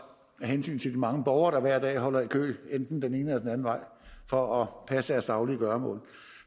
af hensyn til de mange borgere der hver dag holder i kø enten den ene eller den anden vej for at passe deres daglige gøremål